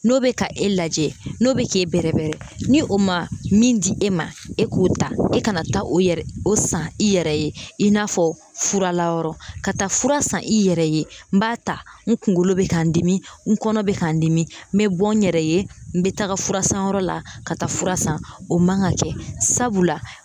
N'o bɛ ka e lajɛ n'o bɛ k'e bɛrɛbɛrɛ ni o ma min di e ma e k'o ta e ka na taa o yɛrɛ o san i yɛrɛ ye i n'a fɔ furalayɔrɔ ka taa fura san i yɛrɛ ye n b'a ta n kunkolo bɛ ka n dimi n kɔnɔ bɛ ka n dimi n bɛ bɔ n yɛrɛ ye n bɛ taga furasanyɔrɔ la ka taa fura san o man ka kɛ sabula